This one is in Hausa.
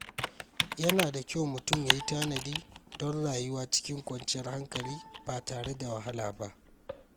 Yana da kyau mutum ya yi tanadi don rayuwa cikin kwanciyar hankali ba tare da wahala ba.